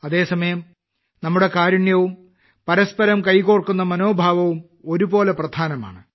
അതേസമയം നമ്മുടെ കാരുണ്യവും പരസ്പരം കൈകോർക്കുന്ന മനോഭാവവും ഒരുപോലെ പ്രധാനമാണ്